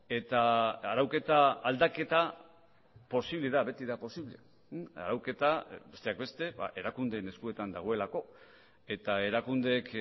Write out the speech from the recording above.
eta arauketa aldaketa posible da beti da posible arauketa besteak beste erakundeen eskuetan dagoelako eta erakundeek